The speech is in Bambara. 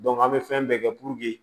an bɛ fɛn bɛɛ kɛ